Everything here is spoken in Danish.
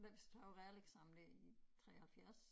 Da vi tog realeksamen der i 73